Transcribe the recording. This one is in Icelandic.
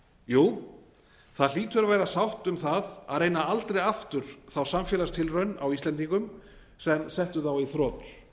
jú það hlýtur að vera sátt um það að reyna aldrei aftur þá samfélagstilraun á íslendingum sem setti þá í þrot